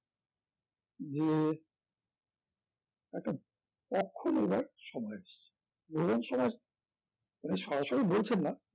যে একটা পক্ষ নেবার সময় এসছে এরকম সমাজ উনি সরাসরি বলছেন না